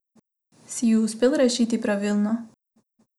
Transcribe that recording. Si ju uspel rešiti pravilno?